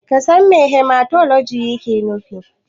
Ka san me Hematologi yake nufi?